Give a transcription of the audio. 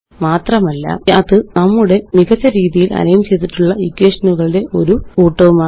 മാത്രമല്ല അത് നമ്മളുടെ മികച്ച രീതിയില് അലൈന് ചെയ്തിട്ടുള്ള ഇക്വേഷനുകളുടെ കൂട്ടവുമാണ്